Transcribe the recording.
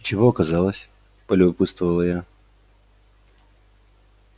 и чего оказалось полюбопытствовала я